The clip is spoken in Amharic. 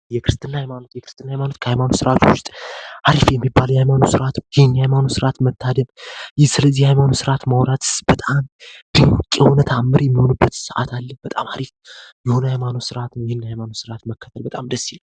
የክርስትና ሃይማኖት ስርዓት መከተልን በጣም ደስ የሚል የሃይማኖት ስርዓት ነዉ